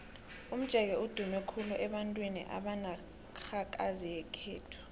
umjeke udume khulu abantwini benarhakazi yekhethu